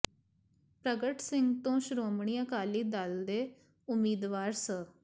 ਪ੍ਰਗਟ ਸਿੰਘ ਤੇ ਸ਼੍ਰੋਮਣੀ ਅਕਾਲੀ ਦਲ ਦੇ ਉਮੀਦਵਾਰ ਸ